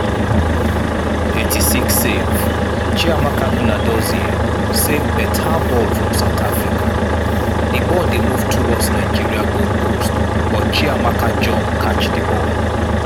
86'save!chiamaka nnadozie save beta ball from south africa di ball dey move towards nigeria goalpost but chiamaka jump catch di ball.